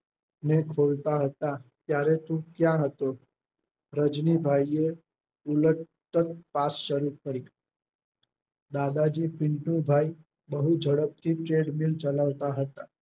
ને ખોલતા હતા ત્યારે તું ક્યાં હતો રજનીભાઈએ ઉલાતપાસ શરૂ કરી દાદાજી પિન્ટુ ભાઈ બહુ ઝડપથી ચેડમીન ચલાવતા હતા